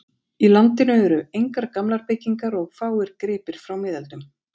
Í landinu eru engar gamlar byggingar og fáir gripir frá miðöldum.